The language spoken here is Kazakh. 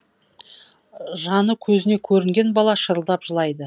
жаны көзіне көрінген бала шырылдап жылайды